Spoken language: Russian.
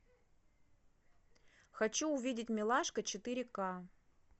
хочу увидеть милашка четыре ка